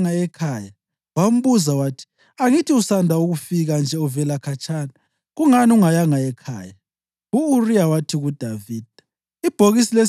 Kwathi uDavida esetsheliwe ukuthi, “U-Uriya kayanga ekhaya,” wambuza wathi, “Angithi usanda kufika nje uvela khatshana? Kungani ungayanga ekhaya?”